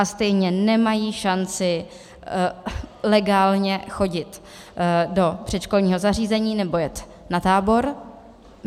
A stejně nemají šanci legálně chodit do předškolního zařízení nebo jet na tábor.